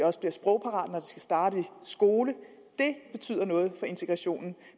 også er sprogparate skal starte i skolen det betyder noget for integrationen